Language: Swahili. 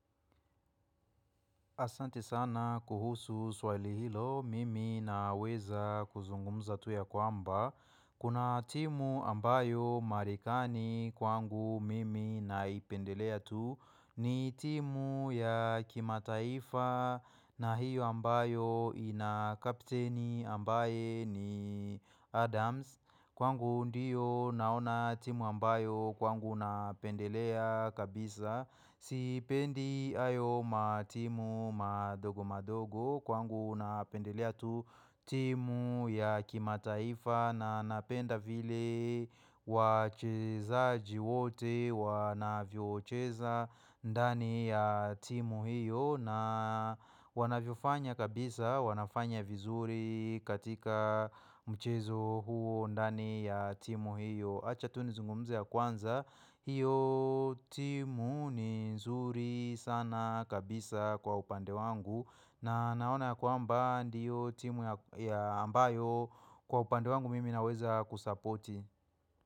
Asante sana kuhusu swali hilo mimi na weza kuzungumza tu ya kwamba Kuna timu ambayo marikani kwangu mimi naipendelea tu ni timu ya kimataifa na hiyo ambayo ina kapteni ambaye ni Adams Kwangu ndiyo naona timu ambayo kwangu naipendelea kabisa Sipendi hayo matimu madogo madogo kwangu unapendelea tu timu ya kimataifa na napenda vile wacheza jiwote wana viocheza ndani ya timu hiyo na wana viofanya kabisa wanafanya vizuri katika mchezo huo ndani ya timu hiyo. Acha tu nizungumze ya kwanza, hiyo timu ni nzuri sana kabisa kwa upande wangu na naona kwamba ndiyo timu ya ambayo kwa upande wangu mimi naweza kusapoti.